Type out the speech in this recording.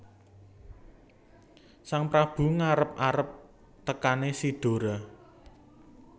Sang Prabu ngarep arep tekané si Dora